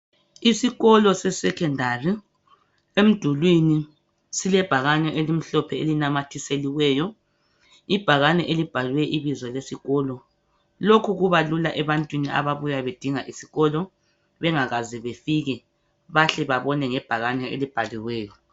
Isikolo se secondary. Emdulwini silebhakane elimhlophe elinamathiseliweyo, ibhakane elibhalwe ibizo lesikolo. Lokhu kubalula ebantwini ababuya bedinga isikolo, bengakaze befike, bayahle babone ngebhakane elibhaliweyo.